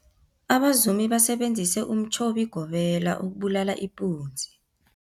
Abazumi basebenzise umtjhobigobela ukubulala ipunzi.